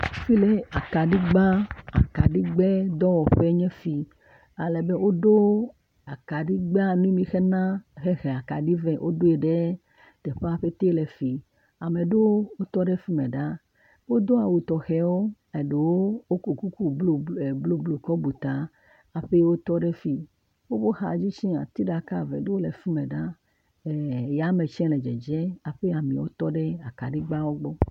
Akaɖigba akaɖigbedɔwɔƒe nye esi. Ale be woɖo akaɖigbe mi mixena he he akaɖi ve woɖoe ɖe teƒea pɛte le fi. Ame aɖe mi tɔ ɖe fi me ɖa. wodo awu tɔxewo eɖewo wokɔ kuku blublu e blublu kɔ bu ta hafi wotɔ ɖe fi. Woƒe xadzi tse ati ɖeke eve aɖewo le fi mɛ ɖa. e eyame tse le dzedzem hafi amewo tɔ ɖe akaɖigbeawo gbɔ.